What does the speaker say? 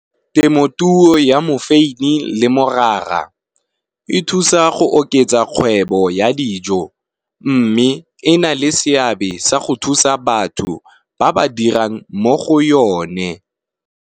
Temotuo ya mofeini le morara e thusa go oketsa kgwebo ya dijo, mme e na le seabe sa go thusa batho ba ba dirang mo go yone.